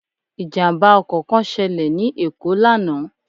Ìjàmbá ọkò kán selè ní Èkó lánàá